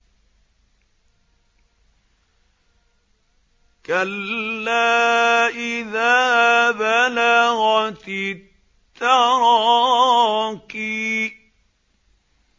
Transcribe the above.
كَلَّا إِذَا بَلَغَتِ التَّرَاقِيَ